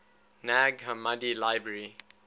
nag hammadi library